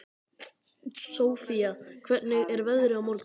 Sofía, hvernig er veðrið á morgun?